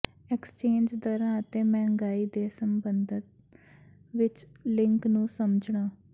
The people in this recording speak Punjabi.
ਐਕਸਚੇਂਜ ਦਰਾਂ ਅਤੇ ਮਹਿੰਗਾਈ ਦੇ ਸਬੰਧ ਵਿੱਚ ਲਿੰਕ ਨੂੰ ਸਮਝਣਾ